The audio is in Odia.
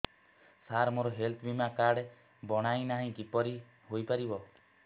ସାର ମୋର ହେଲ୍ଥ ବୀମା କାର୍ଡ ବଣାଇନାହିଁ କିପରି ହୈ ପାରିବ